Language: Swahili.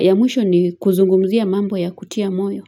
Ya mwisho, ni kuzungumzia mambo ya kutia moyo.